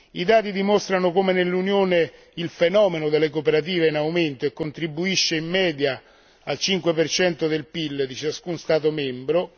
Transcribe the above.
I dati dimostrano come nell'Unione il fenomeno delle cooperative sia in aumento e contribuisca in media al 5 del PIL di ciascuno Stato membro.